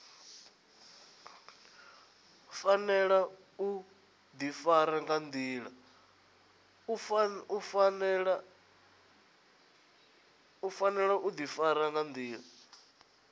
fanela u difara nga ndila